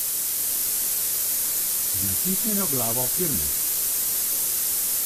Z natisnjeno glavo firme.